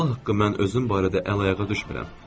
Allah haqqı mən özüm barədə əl-ayağa düşmürəm.